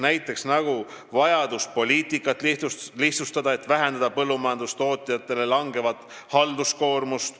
Näiteks on vajadus poliitikat lihtsustada, et vähendada põllumajandustootjate halduskoormust.